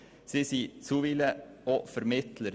Sie sind bisweilen auch Vermittler.